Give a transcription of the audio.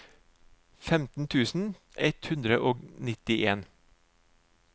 femten tusen ett hundre og nittien